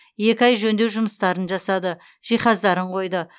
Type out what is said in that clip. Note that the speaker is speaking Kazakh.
екі ай жөндеу жұмыстарын жасады жиһаздарын қойды